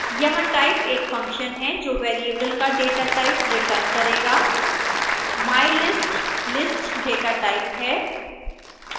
यहाँ type एक function है जो वेरिएबल का datatype रिटर्न करेगा